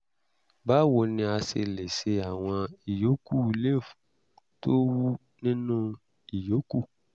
báwo ni a ṣe lè ṣe àwọn ìyókù lymph tó wú nínú ìyókù?